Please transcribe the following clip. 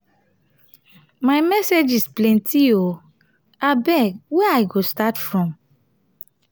my messages plenty oo abeg where i go start from now?